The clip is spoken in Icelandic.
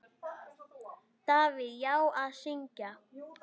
Davíð: Já, að syngja.